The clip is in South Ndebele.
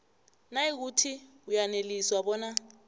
nayikuthi uyaneliswa bona